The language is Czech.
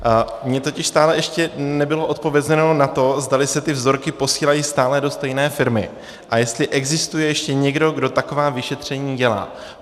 Mně totiž stále ještě nebylo odpovězeno na to, zdali se ty vzorky posílají stále do stejné firmy a jestli existuje ještě někdo, kdo taková vyšetření dělá.